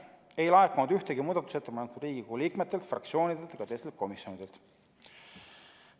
Ei laekunud ühtegi muudatusettepanekut Riigikogu liikmetelt, fraktsioonidelt ega teistelt komisjonidelt.